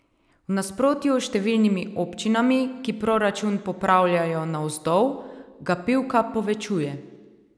V nasprotju s številnimi občinami, ki proračun popravljajo navzdol, ga Pivka povečuje.